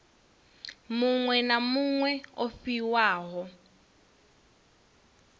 muṅwe na muṅwe o fhiwaho